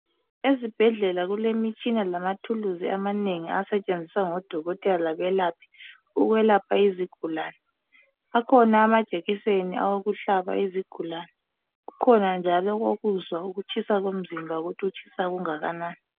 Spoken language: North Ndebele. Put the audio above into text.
Ezibhedlela kulemitshina lamathuluzi amanengi asentshenziswa ngodokotela ukwelapha izigulani akhona amajekiseni wokuhlaba izigulani kukhona njalo okokuzwa ukutshisa komzimba ukuthi utshisa okunganani